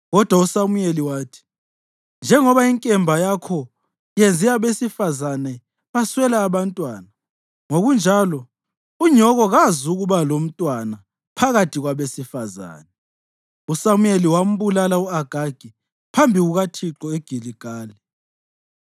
Kodwa uSamuyeli wathi, “Njengoba inkemba yakho yenze abesifazane baswela abantwana, ngokunjalo unyoko kazukuba lomntwana phakathi kwabesifazane.” USamuyeli wambulala u-Agagi phambi kukaThixo eGiligali.